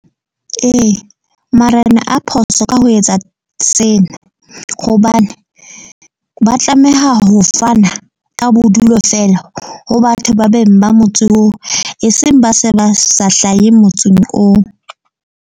Ee, Marena a phoso ka ho etsa sena. Hobane ba tlameha ho fana ka bodulo fela ho batho ba beng ba motse oo. E seng ba se ba sa hlahe motseng oo.